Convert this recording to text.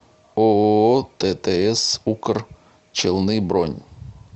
ооо ттс укр челны бронь